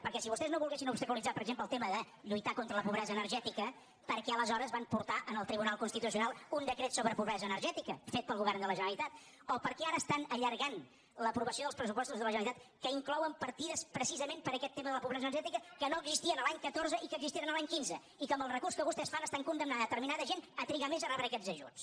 perquè si vostès no volguessin obstaculitzar per exemple el tema de lluitar contra la pobresa energètica per què aleshores van portar al tribunal constitucional un decret sobre pobresa energètica fet pel govern de la generalitat o per què ara estan allargant l’aprovació dels pressupostos de la generalitat que inclouen partides precisament per aquest tema de la pobresa energètica que no existien l’any catorze i que existeixen l’any quinze i que amb el recurs que vostès fan estan condemnant determinada gent a trigar més a rebre aquests ajuts